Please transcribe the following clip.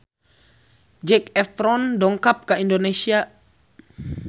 Zac Efron dongkap ka Indonesia